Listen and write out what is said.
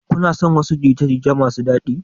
Kuna son jin wasu jita-jita masu daɗi?